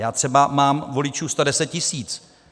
Já třeba mám voličů 110 tisíc.